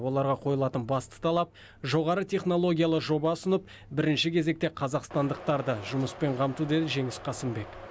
оларға қойылатын басты талап жоғары технологиялы жоба ұсынып бірінші кезекте қазақстандықтарды жұмыспен қамту деді жеңіс қасымбек